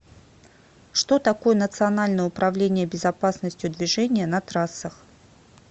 что такое национальное управление безопасностью движения на трассах